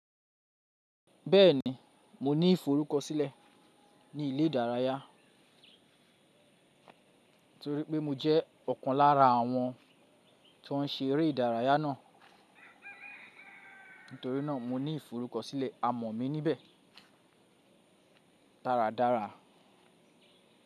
Bẹ́ẹ̀ni, mo ní ìforúkọsílẹ̀ ní ilé ìdárayá torípé mo jẹ́ ọ̀kan lára àwọn tó ń se eré ìdárayá náà. Nítorínà mo ní ìforúkọsílẹ̀ amọ̀ mi níbẹ̀ dáradára.